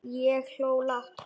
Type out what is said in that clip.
Ég hló lágt.